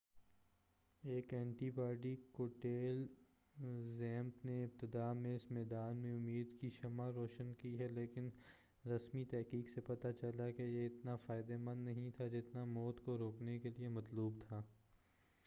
ایک antibody cocktail ZMapp نے ابتداء میں اس میدان میں امید کی شمع روشن کی ہے لیکن رسمی تحقیق سے پتہ چلا کہ یہ اتنا فائدہ مند نہیں تھا جتنا موت کو روکنے کیلئے مطلوب تھا